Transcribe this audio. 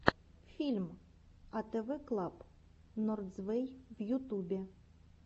мультфильм атэвэ клаб норзвэй в ютубе